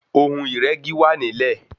Ohun ìrẹ́gi wà nílẹ̀.